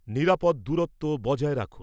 নিরাপদ দূরত্ব বজায় রাখুন।